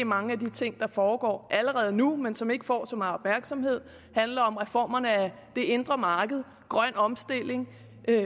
mange af de ting der foregår allerede nu men som ikke får så meget opmærksomhed handler om reformerne af det indre marked grøn omstilling